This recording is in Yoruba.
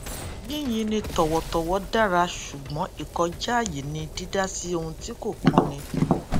yín yin ni tọwọtọwọ dára ṣùgbón ìkọjá àyè ni dídá sí ohun tí kò kan ni